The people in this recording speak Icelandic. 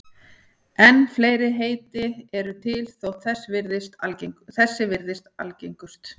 En fleiri heiti eru til þótt þessi virðist algengust.